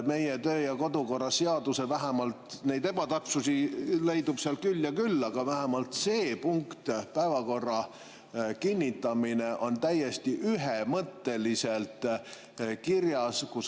Meie töö‑ ja kodukorra seaduses neid ebatäpsusi leidub küll ja küll, aga vähemalt see punkt "Päevakorra kinnitamine" on täiesti ühemõtteliselt kirjas.